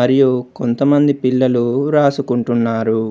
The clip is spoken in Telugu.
మరియు కొంతమంది పిల్లలు రాసుకుంటున్నారు.